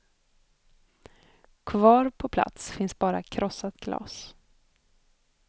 Kvar på plats finns bara krossat glas.